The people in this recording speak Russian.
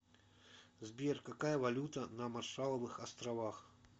сбер какая валюта на маршалловых островах